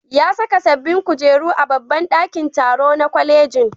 Ya saka sabbin kujeru a babban ɗakin taro na kwalejin.